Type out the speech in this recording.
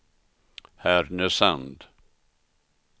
Härnösand